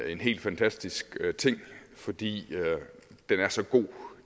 en helt fantastisk ting fordi den er så god